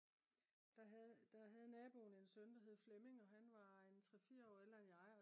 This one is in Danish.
der havde naboen en søn der hed Flemming og han var en 3-4 år ældre end jeg